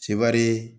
Sebari